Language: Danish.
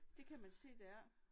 Det kan man se dér